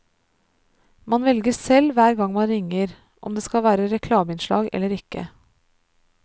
Man velger selv hver gang man ringer, om det skal være reklameinnslag eller ikke.